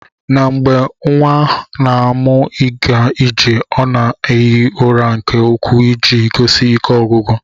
Na mgbe nwa na amụ iga ije ọna eghi ụra nke ukwu iji gosi ike ogwugwu.